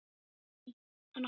Lagður til hinstu hvílu?